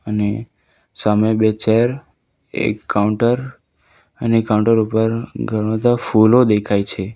અને સામે બે ચેર એક કાઉન્ટર અને કાઉન્ટર ઉપર ઘણા બધા ફુલો દેખાય છે.